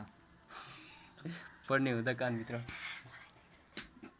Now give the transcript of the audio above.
पर्ने हुँदा कानभित्र